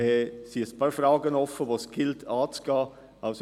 Diesbezüglich gilt es, einige Fragen zu klären.